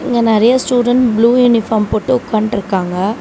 இங்க நறையா student blue uniform போட்டு உக்கான்டுருக்காங்க.